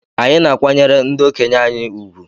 Anyị na-akwanyere ndị okenye anyị ùgwù.